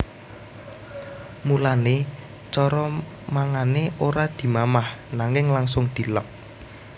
Mulané cara mangané ora dimamah nanging langsung dileg